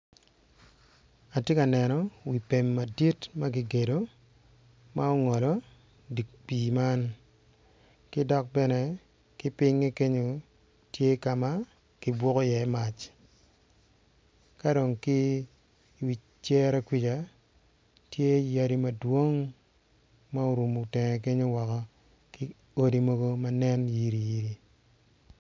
Atye ka neno wi pem adit ma ogolo wi pii man ki kipinye tya ka ma kubuku iye mwac i wi cere tye yadi ki odi